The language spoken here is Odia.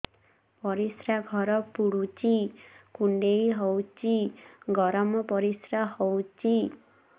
ପରିସ୍ରା ଘର ପୁଡୁଚି କୁଣ୍ଡେଇ ହଉଚି ଗରମ ପରିସ୍ରା ହଉଚି